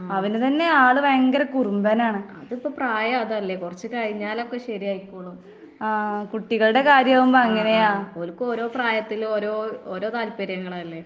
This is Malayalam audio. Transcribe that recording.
ഉം അത് ഇപ്പെ പ്രായം അതല്ലേ കൊറച്ച് കഴിഞ്ഞാലൊക്കെ ശരിയായിക്കോളും. ഓര്ക്ക് ഓരോ പ്രായത്തിലും ഓരോ ഓരോ താല്പ്പര്യങ്ങളല്ലേ?